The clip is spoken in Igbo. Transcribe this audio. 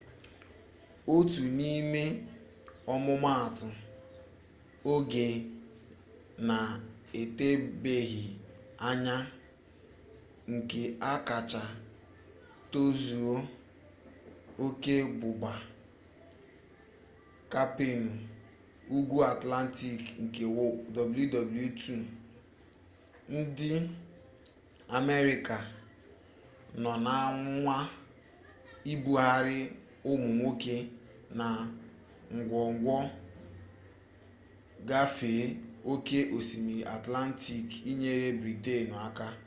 otu n'ime ọmụmatụ oge na-etebeghị anya nke a kacha tozuo oke bụbu kampeenụ ugwu atlantik nke wwii ndị amerịka nọ na-anwa ibugharị ụmụ nwoke na ngwongwo gafee oke osimiri atlantik inyere britenụ aka